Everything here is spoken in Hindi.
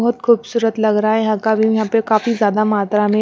बहुत खूबसूरत लग रहा है यहां का व्यू यहां पे काफी ज्यादा मात्रा में--